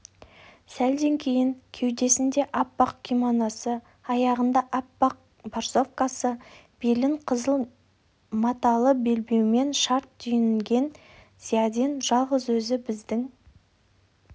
сәлден кейін кеудесінде аппақ кимоносы аяғында аппақ борсовкасы белін қызыл маталы белбеумен шарт түйінген зиядин жалғыз өзі біздің